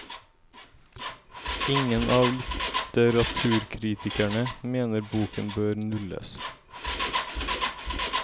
Ingen av litteraturkritikerne mener boken bør nulles.